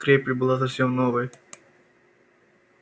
крепь была совсем новой